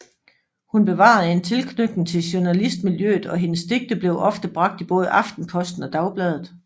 Hun bevarede en tilknytning til journalistmiljøet og hendes digte blev ofte bragt i både Aftenposten og Dagbladet